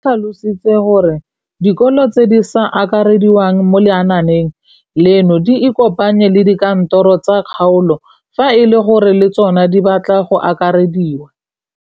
O tlhalositse gore dikolo tse di sa akarediwang mo lenaaneng leno di ikopanye le dikantoro tsa kgaolo fa e le gore le tsona di batla go akarediwa.